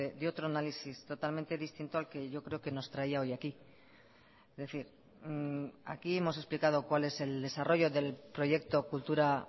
de otro análisis totalmente distinto al que yo creo que nos traía hoy aquí es decir aquí hemos explicado cuál es el desarrollo del proyecto kultura